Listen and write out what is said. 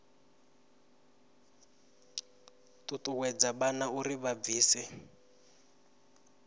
ṱuṱuwedza vhana uri vha ḓibvise